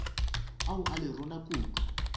ao a le rona kudu